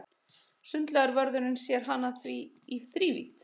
Sundlaugarvörðurinn sér hana því í þrívídd.